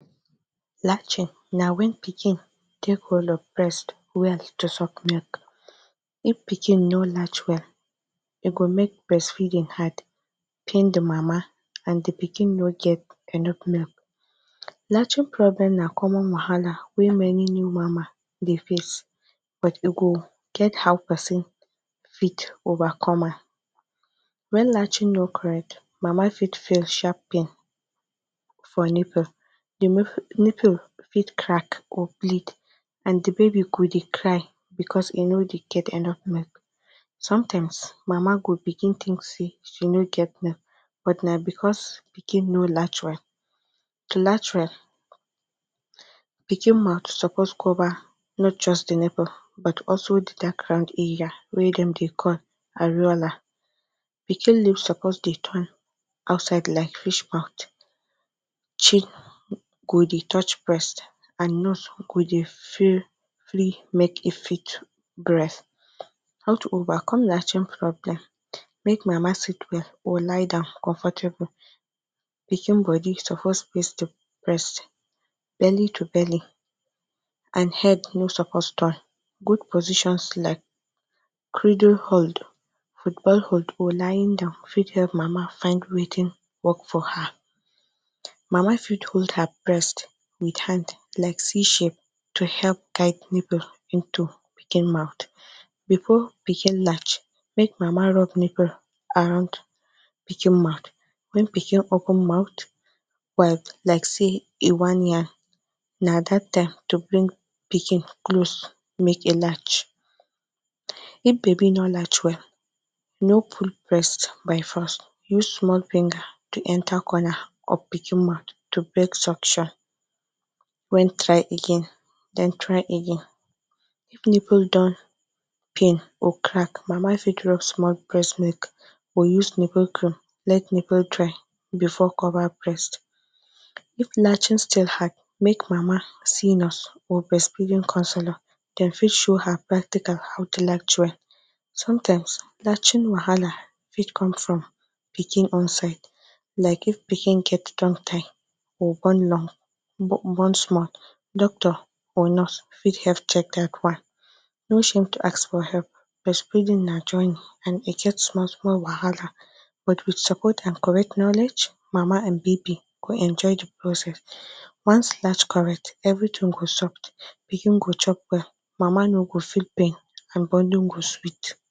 Latching na wen pikin take hold of breast well to suck milk, if pikin no latch well e go make breast feeding hard pain the mama and d pikin no get enough milk, latching problem na common wahala wey many new mama dey face but e go get how person fit overcome am wen latching no correct mama fit feel sharp pain for nipple, d nipple, nipple fit crack or bleed and d baby go dey cry because e no dey get enough milk sometimes mama go begin think say she no get milk but because pikin no latch well, to latch well pikin mouth suppose cover not just de nipple but also de dark round area wey dem dey call areola pikin lips suppose dey turn outside like fish mouth chin go dey touch breast and nose go dey free make e fit breathe, how to over latching problem make mama sit well or lie down comfortable pikin bodi suppose face d breast belly to belly and head no suppose turn goood positions like criddle hold, football hold or lying down fit help mama find Wetin work for her, mama fit hold her breast with hand like say she dey help guide nipple into pikin mouth before pikin latch make mama rub nipple around pikin mouth, make pikin open mouth well like say e wan yawn na dat time to bring pikin close make e latch, if baby no latch well no pull breast by force use small finger to enter corner of pikin mouth to break suction when try again den try again if nipple don peel or crack mama fit rub small breast milk or use nipple cream or let nipple dry before cover breast, if latching still hard make mama see nurse or breast feeding counselor dem fit show her practical how to latch well sometimes latching wahala fit come from pikin own side like of pikin get tongue tie or doctor or nurse fit help check dat one, no shame to ask for help breastfeeding na journey and e get small small wahala but with support and correct knowledge, mama and baby go enjoy d process, once latch correct everything go soft, pikin go chop well mama no go feel pain and bonding go sweet.